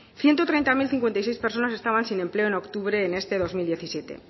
ciento treinta mil cincuenta y seis personas estaban sin empleo en octubre en este dos mil diecisiete